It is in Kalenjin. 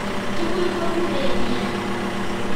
Tugul komure nia.